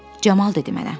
Camal dedi mənə.